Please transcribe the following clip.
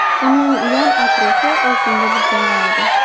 Uning yon-atrofi oltinga burkangan edi.